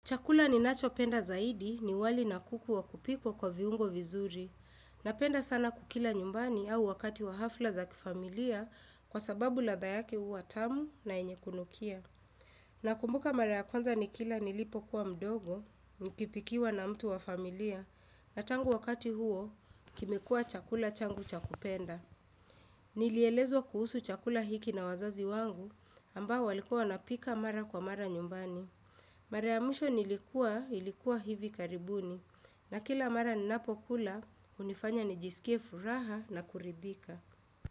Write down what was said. Chakula ninacho penda zaidi ni wali na kuku wa kupikwa kwa viungo vizuri. Napenda sana kukila nyumbani au wakati wa hafla za kifamilia kwa sababu ladha yake huwa tamu na yenye kunukia. Nakumbuka mara ya kwanza nikila nilipokuwa mdogo, nikipikiwa na mtu wa familia. Na tangu wakati huo, kimekua chakula changu cha kupenda. Nilielezwa kuhusu chakula hiki na wazazi wangu ambao walikuwa wanapika mara kwa mara nyumbani. Mara ya musho nilikuwa hivi karibuni na kila mara ninapokula hunifanya nijisikie furaha na kuridhika.